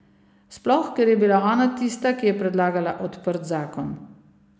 Sploh ker je bila ona tista, ki je predlagala odprt zakon.